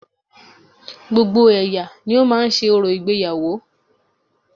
Gbogbo ẹ̀yà ni ó máa ń ṣe orò ìgbéyàwó